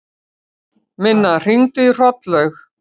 Minna, hringdu í Hrollaug.